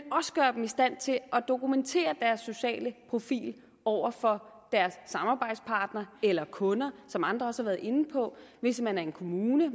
også gøre dem i stand til at dokumentere deres sociale profil over for deres samarbejdspartnere eller kunder som andre også været inde på hvis man er en kommune